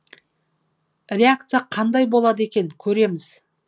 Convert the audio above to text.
реакция қандай болады екен көреміз